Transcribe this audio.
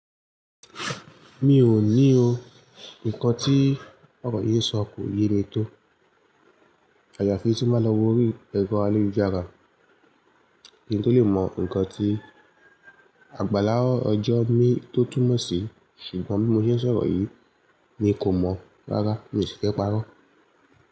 Mi ò ní o. Nǹkan tí ọkọ yìí sọ kò ye mi tó. Àyafi tí n máa lọ orí ẹ̀rọ ayélujára. Kín tó lè mọ̀ nǹkan tí àgbàlá ọjọ́ mi tó túmọ̀ sí, ṣùgbọ́n bí mo ṣe ṣọ̀rọ̀ yìí mi kò mọ̀ rárá mi sì fẹ́ parọ́